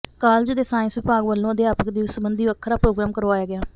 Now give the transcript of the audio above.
college ਦੇ science ਵਿਭਾਗ ਵੱਲੋਂ ਅਧਿਆਪਕ ਦਿਵਸ ਸਬੰਧੀ ਵੱਖਰਾ ਪ੍ਰੋਗਰਾਮ ਕਰਵਾਇਆ ਗਿਆ